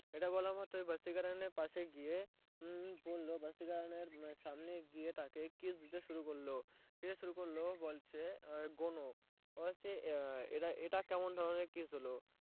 এটা বলা মাত্রই ভাসীকারানের পাশে গিয়ে ভাসীকারানের সামনে গিয়ে তাকে kiss দিতে শুরু করলো বলছে গুনো বললো এটা কেমন ধরনের kiss হলো